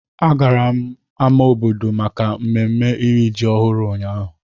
A gara m ámá obodo maka mmemme iri ji ọhụrụ ụnyahụ.